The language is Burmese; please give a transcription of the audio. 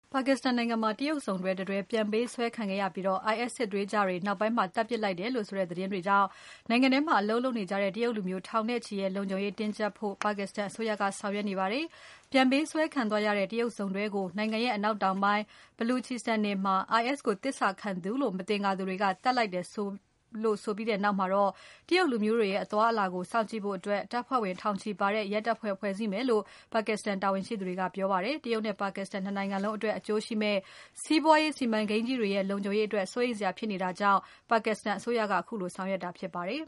ပါကစ္စတန်နိုင်ငံမှာ တရုတ်စုံတွဲတတွဲ ပြန်ပေးဆွဲခံခဲ့ရပြီး IS စစ်သွေးကြွတွေက နောက်ပိုင်းမှာ သတ်ဖြတ်လိုက်တယ်ဆိုတဲ့သတင်းတွေကြောင့် နိုင်ငံထဲမှာအလုပ်လုပ်နေကြတဲ့ တရုတ်လူမျိုးထောင်နဲ့ချီရဲ့ လုံခြုံရေးကို တင်းကြပ်ဖို့ ပါကစ္စတန်အစိုးရက ဆောင်ရွက်နေပါတယ်။ ပြန်ပေးဆွဲခံသွားရတဲ့ တရုတ်စုံတွဲကို နိုင်ငံရဲ့ အနောက်တောင်ပိုင်း Balochistan နယ်မှာ IS ကိုသစ္စာခံသူလို့ မသင်္ကာသူတွေက သတ်လိုက်တယ်လို့ဆိုပြီးနောက်မှာ တရုတ်လူမျိုးတွေရဲ့ အသွားအလာကို စောင့်ကြည့်ဖို့ တပ်ဖွဲ့ဝင်ထောင်ချီပါတဲ့ ရဲတပ်ဖွဲ့ကို ဖွဲ့စည်းမယ်လို့ ပါကစ္စတန်တာဝန်ရှိသူတွေက ပြောပါတယ်။ တရုတ်နဲ့ ပါကစ္စတန် ၂ နိုင်ငံလုံးအတွက် အကျိုးရှိမယ့် စီးပွားရေးစီမံကိန်းကြီးတွေရဲ့ လုံခြုံရေးအတွက် စိုးရိမ်စရာဖြစ်နေတာကြောင့် ပါကစ္စတန်အစိုးရက ခုလိုဆောင်ရွက်လာတာဖြစ်ပါတယ်